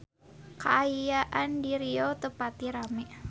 Kaayaan di Riau teu pati rame